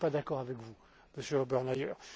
Je ne suis pas d'accord avec vous, Monsieur